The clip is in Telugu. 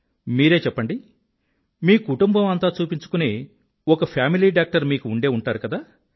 మీరే చెప్పండి మీ కుటుంబం అంతా చూపించుకునే ఒక ఫ్యామిలీ డాక్టర్ మీకూ ఉండే ఉంటారు కదా